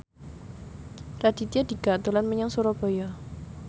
Raditya Dika dolan menyang Surabaya